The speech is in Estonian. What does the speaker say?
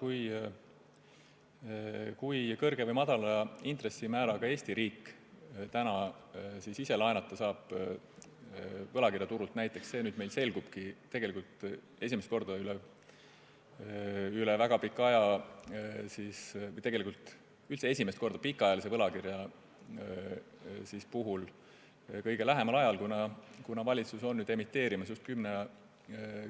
See, kui kõrge või madala intressimääraga Eesti riik täna ise võlakirjaturult laenata saab, selgubki meil tegelikult esimest korda üle väga pika aja – pikaajalise võlakirja puhul üldse esimest korda, kuna valitsus on esimest korda emiteerimas